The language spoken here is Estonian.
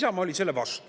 Isamaa oli selle vastu.